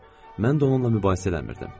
Mən də onunla mübahisə eləmirdim.